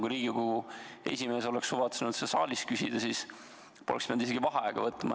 Kui Riigikogu esimees oleks suvatsenud seda saalilt küsida, siis poleks pidanud isegi vaheaega võtma.